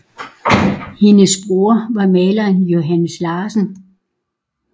Hendes bror var maleren Johannes Larsen